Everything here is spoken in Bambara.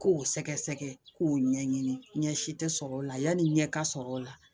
K'o sɛgɛsɛgɛ k'o ɲɛɲini ɲɛ si tɛ sɔrɔ o la yanni n ɲɛ ka sɔrɔ o la